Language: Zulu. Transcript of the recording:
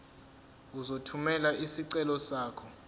uzothumela isicelo sakho